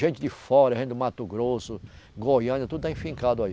Gente de fora, gente do Mato Grosso, Goiânia, tudo está enfincado aí.